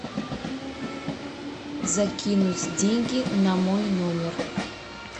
закинуть деньги на мой номер